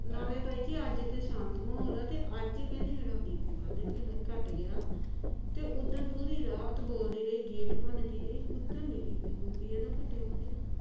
ਨਾਲੇ ਅੱਜ ਤਾ ਇਹਦੇ ਸ਼ਾਂਤ ਮਾਹੌਲ ਐ ਤੇ ਅੱਜ ਹੀ ਕਹਿੰਦੀ ਮੇਰਾ BP ਵੱਧ ਰਿਹਾ ਘੱਟ ਗਿਆ ਤੇ ਉਹ ਦਿਨ ਪੂਰੀ ਰਾਤ ਬੋਲਦੀ ਰਹੀ ਗੇਟ ਭੁਣਦੀ ਗਈ ਦੇਖਲਾ ਉਹ ਦਿਨ ਨਹੀ BP ਬੁਪੀ ਘੱਟਿਆ